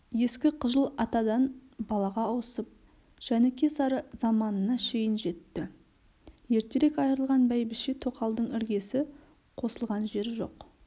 ескі қыжыл атадан балаға ауысып жәніке-сары заманына шейін жетті ертерек айырылған бәйбіше-тоқалдың іргесі қосылған жері жоқ